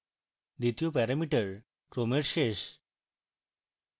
দ্বিতীয় প্যারামিটার ক্রমের শেষ